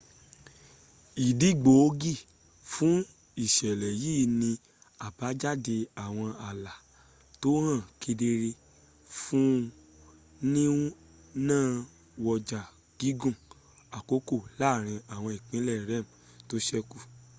ìdí gbòógì fú ìṣẹ̀lẹ̀ yìí ni àbájáde àwọn ààlá tó hàn kedere fún nínawọ́jà gígùn àkókò láàrin àwọn ìpínlẹ̀ rem tó sẹ́kù